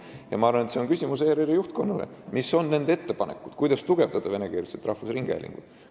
Ja ma arvan, et see on küsimus ERR-i juhtkonnale: mis on nende ettepanekud, kuidas tugevdada venekeelset rahvusringhäälingut?